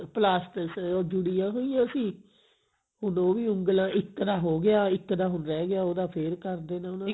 plasters ਅਹ ਜੁੜੀਆਂ ਹੋਈਆਂ ਸੀ ਹੁਣ ਉਹੀ ਉਂਗਲਾ ਇੱਕ ਦਾ ਹੋ ਗਿਆ ਇੱਕ ਦਾ ਹੁਣ ਰਹਿ ਗਿਆ ਉਹਦਾ ਫੇਰ ਕਰ ਦੇਣਾ ਉਹਨਾਂ ਨੇ